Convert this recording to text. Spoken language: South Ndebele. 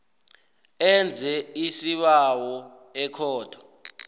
enze isibawo ekhotho